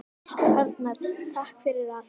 Elsku Arnar, takk fyrir allt.